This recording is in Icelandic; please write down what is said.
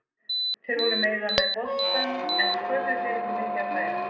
Þeir voru meira með boltann en sköpuðu sér ekki mikið af færum.